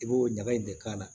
I b'o ɲaga in de k'a la